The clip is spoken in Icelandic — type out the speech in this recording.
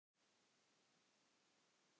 Nokkur þúsund?